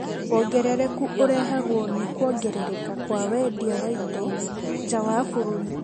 Wongerereku ũrehagwo nĩ kuongerereka kwa wendia wa indo nja wa bũrũri